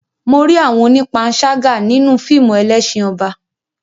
Mo rí àwọn onípanṣágà nínú fíìmù Ẹlẹ́ṣin Ọba.